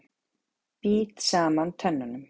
Bít saman tönnunum.